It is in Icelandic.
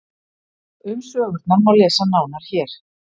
Um sögurnar má lesa nánar hér.